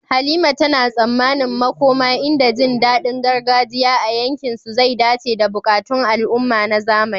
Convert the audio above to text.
Halima tana tsammanin makoma inda jin daɗin gargajiya a yankinsu zai dace da buƙatun al'umma na zamani.